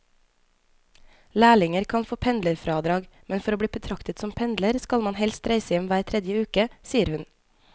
Lærlinger kan få pendlerfradrag, men for å bli betraktet som pendler skal man helst reise hjem hver tredje uke, sier hun.